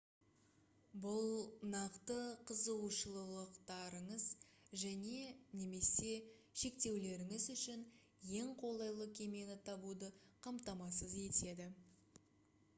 бұл нақты қызығушылықтарыңыз және/немесе шектеулеріңіз үшін ең қолайлы кемені табуды қамтамасыз етеді